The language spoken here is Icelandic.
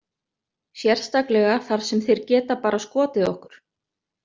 Sérstaklega þar sem þeir geta bara skotið okkur.